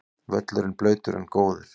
Völlurinn blautur en góður